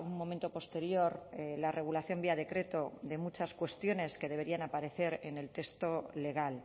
un momento posterior la regulación vía decreto de muchas cuestiones que deberían aparecer en el texto legal